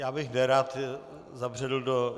Já bych nerad zabředl do...